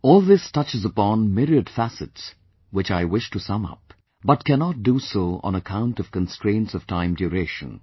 All this touches upon myriad facets which I wish to sum up, but cannot do so on account of constraints of time duration